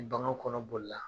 Ni bagan kɔnɔ bolila.